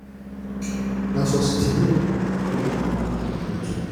na for sitting room i dey like remove my cloth